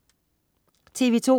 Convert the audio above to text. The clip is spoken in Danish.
TV2: